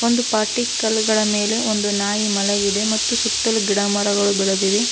ಒಂದು ಪಾಟಿ ಕಲ್ಲಗಳ ಮೇಲೆ ಒಂದು ನಾಯಿ ಮಲಗಿದೆ ಮತ್ತು ಸುತ್ತಲೂ ಗಿಡ ಮರಗಳು ಬೆಳದಿವೆ.